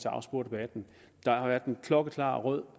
afspore debatten der har været en klokkeklar rød